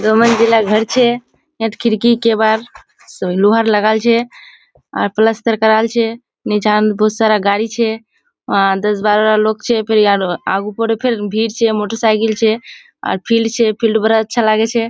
दो मंजिला घोर छे यात खिड़की केबर लोहार लागाल छे आर पलस्तर कराल छे निचान बोहोत सारा गाड़ी छे आर दस बारोरा लोक छे फेर यार आगू पकाए भीड़ छे मोटर साईकिल छे आर फिल्ड छे फिल्ड बड़ा अच्छा लाग छे।